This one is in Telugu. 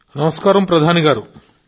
నమస్కారం మోదీ గారూ